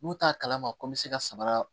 N'u t'a kalama ko n bɛ se ka sabara